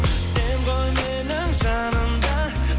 сен ғой менің жаным да